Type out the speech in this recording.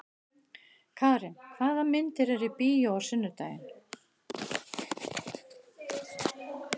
Karin, hvaða myndir eru í bíó á sunnudaginn?